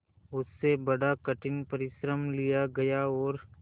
उससे बड़ा कठिन परिश्रम लिया गया और